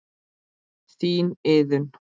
Þín Iðunn.